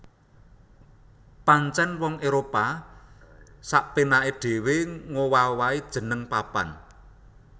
Pancèn wong Éropah sapénaké dhéwé ngowah owahi jeneng papan